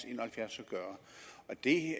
en og halvfjerds at gøre det